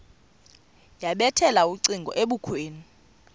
yabethela ucingo ebukhweni